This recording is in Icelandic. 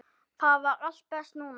Þar var allt best núna.